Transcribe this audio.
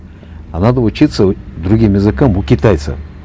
а надо учиться другим языкам у китайца